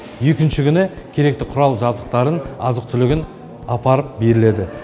екінші күні керекті құрал жабдықтарын азық түлігін апарып беріледі